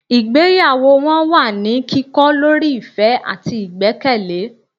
ìgbéyàwó wọn wà ní kikọ lorí ìfẹ́ àtí ìgbẹ́kẹ̀lé